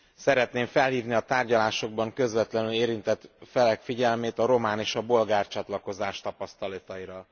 Szeretném felhívni a tárgyalásokban közvetlenül érintett felek figyelmét a román és a bolgár csatlakozás tapasztalataira.